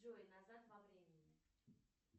джой назад во времени